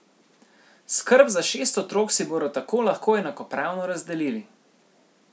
Skrb za šest otrok si bodo tako lahko enakopravno razdelili.